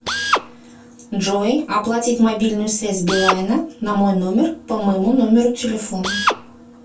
джой оплатить мобильную связь билайна на мой номер по моему номеру телефона